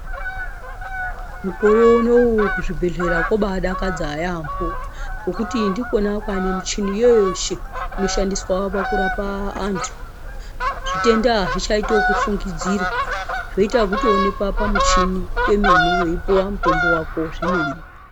Mukore unowu kuzvibhehlera kwobaadakadza yaamho ngekuti ndikona kwava nemuchini yese inoshandiswa pakurapwa vantu zvitenda hazvichaiti zvekufungidzirwa. Zveita wekutooneka pamuchini kwomene weipiwa mutombo wako zvemene.